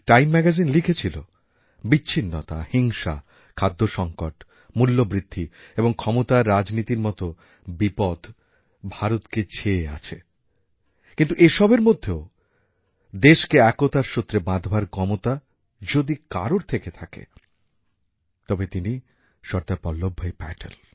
time magazine লিখেছিল বিচ্ছিন্নতা হিংসা খাদ্যসঙ্কট মূল্যবৃদ্ধি এবং ক্ষমতাররাজনীতির মতো বিপদ ভারতকে ছেয়ে আছে কিন্তু এসবের মধ্যেও দেশকে একতার সূত্রে বাঁধবার ক্ষমতা যদি কারোর থেকে থাকে তবে তিনি সর্দার বল্লভভাই পটেল